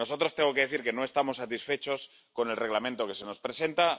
Tengo que decir que nosotros no estamos satisfechos con el Reglamento que se nos presenta.